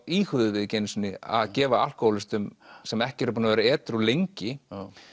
íhuguðum við ekki einu sinni að gefa alkóhólistum sem ekki eru búnir að vera edrú lengi